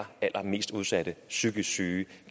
allerallermest udsatte psykisk syge